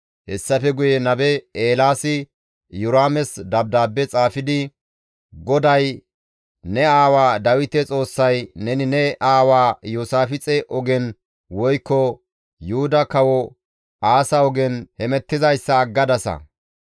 Hessafe guye nabe Eelaasi Iyoraames dabdaabbe xaafidi, «GODAY ne aawa Dawite Xoossay, ‹Neni ne aawaa Iyoosaafixe ogen woykko Yuhuda Kawo Aasa ogen hemettizayssa aggadasa;